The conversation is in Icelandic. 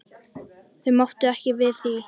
Þau máttu ekki við því.